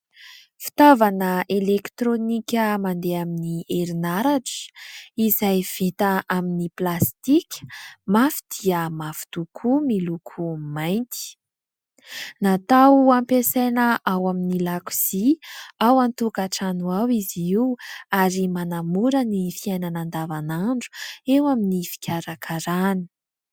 Fitaovana elektronika mandeha amin'ny herinaratra izay vita amin'ny plastika mafy dia mafy tokoa miloko mainty. Natao hampiasaina ao amin'ny lakozia ao an-tokatrano ao izy io ary manamora ny fiainana andavan'andro eo amin'ny fikarakaràna.